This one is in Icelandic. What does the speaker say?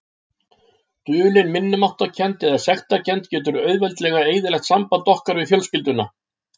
Dulin minnimáttarkennd eða sektarkennd getur auðveldlega eyðilagt samband okkar við fjölskylduna.